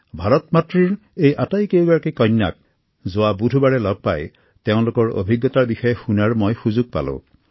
ভাৰত মাতৃৰ এই আটাইকেইগৰাকী কন্যাক যোৱা বুধবাৰে লগ পাই তেওঁলোকৰ অভিজ্ঞতা শুনাৰ মই সুযোগ পালো